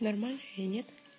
нормально или нет